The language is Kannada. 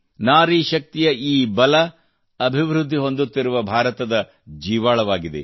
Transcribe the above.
ನಾರಿ ಶಕ್ತಿಯ ಈ ಬಲವು ಅಭಿವೃದ್ಧಿ ಹೊಂದುತ್ತಿರುವ ಭಾರತದ ಜೀವಾಳವಾಗಿದೆ